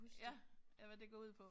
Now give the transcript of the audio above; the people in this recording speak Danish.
Ja ja hvad det går ud på